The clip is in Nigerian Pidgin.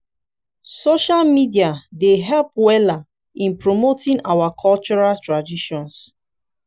social media dey help weller in promoting our cultural traditions.